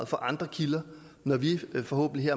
fra andre kilder når vi forhåbentlig